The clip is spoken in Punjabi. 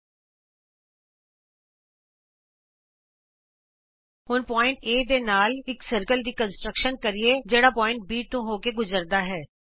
ਆਉ ਅਸੀਂ ਹੁਣ ਕੇਂਦਰ A ਦੇ ਨਾਲ ਇਕ ਗੋਲੇ ਦੀ ਰਚਨਾ ਕਰੀਏ ਜਿਹੜਾ ਬਿੰਦੂ B ਤੋਂ ਹੋ ਕੇ ਗੁਜਰਦਾ ਹੈ